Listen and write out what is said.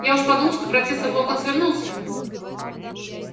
я уж подумал что профессор локонс вернулся